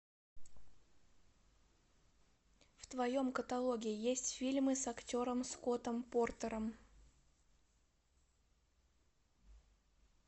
в твоем каталоге есть фильмы с актером скоттом портером